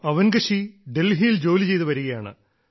അവൻഗശീ ഡൽഹിയിൽ ജോലിചെയ്തുവരികയാണ്